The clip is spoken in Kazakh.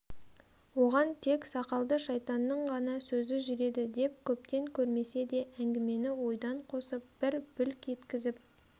оған тек сақалды шайтанның ғана сөзі жүреді деп көптен көрмесе де әңгімені ойдан қосып бір бүлк еткізіп